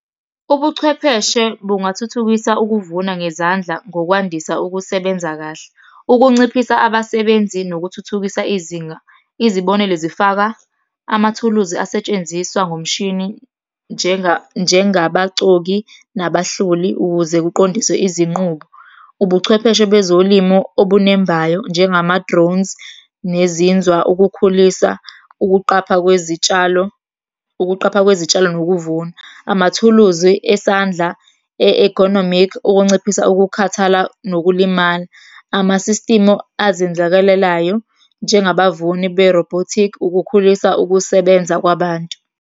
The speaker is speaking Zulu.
Ubuchwepheshe bungathuthukisa ukuvuna ngezandla ngokwandisa ukusebenza kahle. Ukunciphisa abasebenzi, nokuthuthukisa izinga. Izibonelo zifaka, amathuluzi asetshenziswa ngomshini njengabacoki, nabahloli, ukuze kuqondiswe izinqubo. Ubuchwepheshe bezolimo obunembayo, njengama-drones, nezinzwa, ukukhulisa ukuqapha kwezitshalo, ukuqapha kwezitshalo nokuvuna. Amathuluzi esandla e-economic, ukunciphisa ukukhathala nokulimala. Ama-system azenzakalelayo, njengabavuni be-robotic. Ukukhulisa ukusebenza kwabantu.